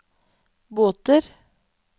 båter